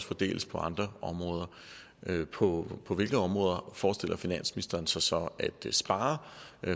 fordeles på andre områder på på hvilke områder forestiller finansministeren sig så at spare